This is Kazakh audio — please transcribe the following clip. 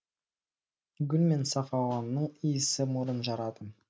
гүл мен саф ауаның иісі мұрын жарады